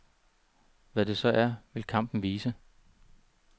Hvad det så er, vil kampen vise.